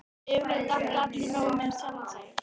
Yfirleitt áttu allir nóg með sjálfa sig.